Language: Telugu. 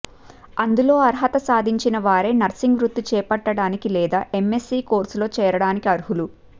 అందులో అర్హత సాధించిన వారే నర్సింగ్ వృత్తి చేపట్టడానికి లేదా ఎంఎస్సీ కోర్సులో చేరడానికి అర్హులు